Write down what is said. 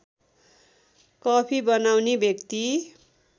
coffee बनाउने व्यक्ति